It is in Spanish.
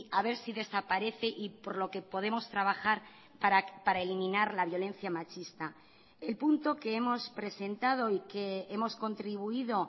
a ver si desaparece y por lo que podemos trabajar para eliminar la violencia machista el punto que hemos presentado y que hemos contribuido